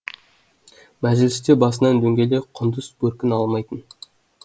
мәжілісте басынан дөңгелек құндыз бөркін алмайтын